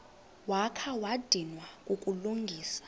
wakha wadinwa kukulungisa